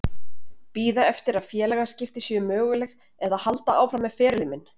Bíða eftir að félagaskipti séu möguleg eða halda áfram með ferilinn minn?